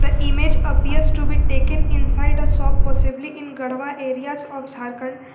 The image appears to be taken inside a shop possibly in garhwa areas of jharkhand.